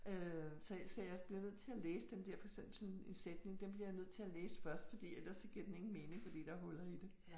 Øh så så jeg bliver nødt til at læse den der for så sådan en sætning den bliver jeg nødt til at læse først fordi eller så giver den ingen mening fordi der huller i det